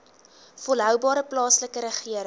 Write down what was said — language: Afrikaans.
volhoubare plaaslike regering